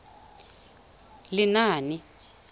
lenaane